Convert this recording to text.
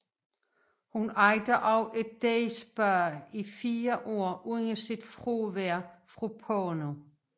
Hun ejede også et day spa i fire år under sit fravær fra porno